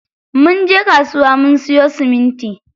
Munje kasuwa mun siyo siminti.